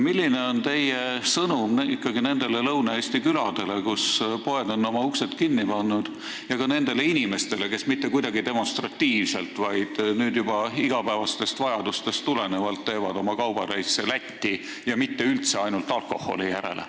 Milline on ikkagi teie sõnum nendele Lõuna-Eesti küladele, kus poed on oma uksed kinni pannud, ja ka nendele inimestele, kes mitte kuidagi demonstratiivselt, vaid nüüd juba igapäevastest vajadustest tulenevalt teevad kaubareise Lätti ja üldse mitte ainult alkoholi järele?